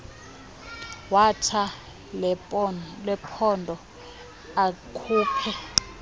wethala lephondo akhuphe